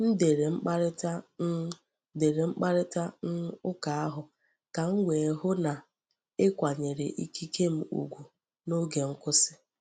M dere mkparịta um dere mkparịta um ụka ahụ ka m wee hụ na e kwanyere ikike m ugwu n’oge nkwụsị.